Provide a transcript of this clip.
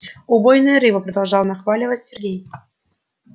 убойная рыба продолжал нахваливать сергей